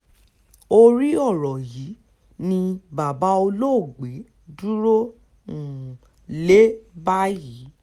orí ọ̀rọ̀ yìí ni bàbá olóògbé dúró um lé báyìí